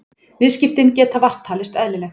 Viðskiptin geta vart talist eðlileg